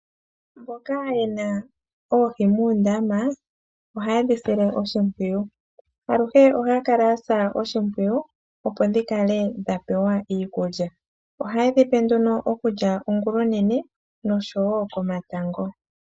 Mboka yena oohi muundama ohaye dhi sile oshimpwiyu. Aluhe ohaya kala yasa oshimpwiyu opo dhi kale dha pewa iikulya. Ohaye dhi pe nduno okulya ongulonene noshowoo komatango.